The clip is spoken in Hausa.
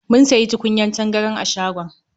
Mun sayi tukunyar tangaran a shagon.